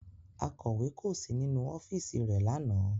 Akọ̀wé kò sí nínú ọ́fíìsì rẹ̀ lánàá